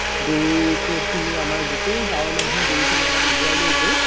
গৰুকে খিনি আমাৰ গুতেই গাওৰ মানুহ খিনি আমাৰ উলাই লৈ গৈ